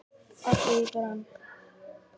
allt heyið brann